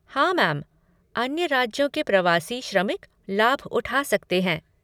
हाँ मैम, अन्य राज्यों के प्रवासी श्रमिक लाभ उठा सकते हैं।